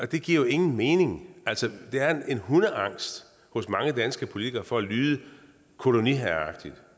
det giver jo ingen mening altså der er en hundeangst hos mange danske politikere for at lyde koloniherreagtig